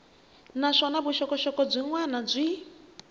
naswona vuxokoxoko byin wana byi